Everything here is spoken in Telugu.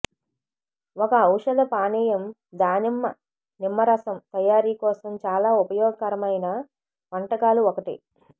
ఒక ఔషధ పానీయం దానిమ్మ నిమ్మరసం తయారీ కోసం చాలా ఉపయోగకరమైన వంటకాలు ఒకటి